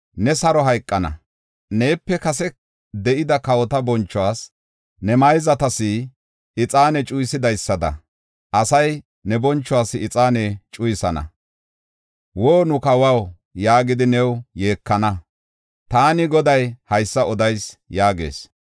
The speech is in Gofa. Ne saro hayqana. Neepe kase de7ida kawota bonchuwas, ne mayzatas ixaane cuyisidaysada, asay ne bonchuwas ixaane cuyisana. Woo! nu kawaw, yaagidi new yeekana. Taani Goday haysa odayis” yaagees.